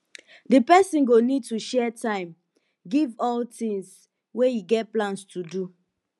di person go need to share time give all di tins wey e get plans to do